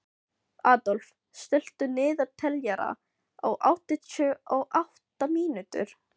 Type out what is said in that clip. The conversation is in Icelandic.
Adolf, stilltu niðurteljara á áttatíu og átta mínútur.